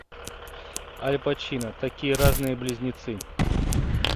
аль пачино такие разные близнецы